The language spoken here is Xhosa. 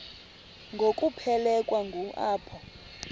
ngokuphelekwa ngu apho